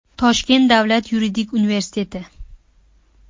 Toshkent davlat yuridik universiteti.